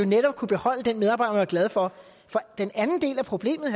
netop kunne beholde den medarbejder glad for for den anden del af problemet